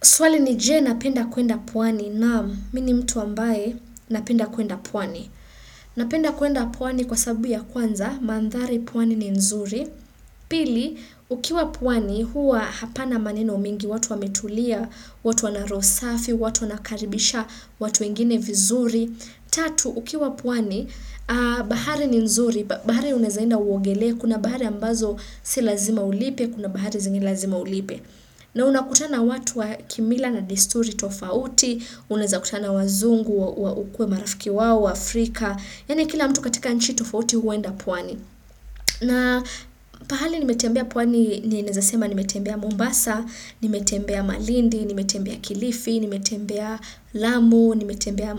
Swali ni je, napenda kuenda pwani? Naam mimi ni mtu ambaye napenda kuenda pwani. Napenda kuenda pwani kwa sababu ya kwanza, mandhari pwani ni nzuri. Pili, ukiwa pwani huwa hapana maneno mengi, watu wametulia, watu wana roho safi, watu wanakaribisha, watu wengine vizuri. Tatu, ukiwa pwani, bahari ni nzuri, bahari unaweza enda uogelee, kuna bahari ambazo si lazima ulipe, kuna bahari zengine lazima ulipe. Na unakutana watu wa kimila na desturi tofauti, unaweza kutana wazungu wa ukuwe marafiki wao, waafrika, yaani kila mtu katika nchi tofauti huenda pwani. Na pahali nimetembea pwani ninaweza sema nimetembea Mombasa, nimetembea Malindi, nimetembea Kilifi, nimetembea Lamu, nimetembea